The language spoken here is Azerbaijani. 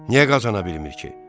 Niyə qazana bilmir ki?